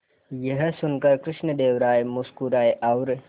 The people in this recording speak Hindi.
यह सुनकर कृष्णदेव राय मुस्कुराए और